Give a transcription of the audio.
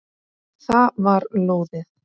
Það var lóðið!